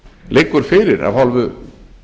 liggur fyrir af hálfu